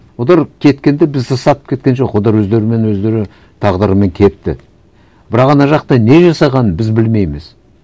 олар кеткенде бізді сатып кеткен жоқ олар өздерімен өздері тағдырымен кетті бірақ ана жақта не жасағанын біз білмейміз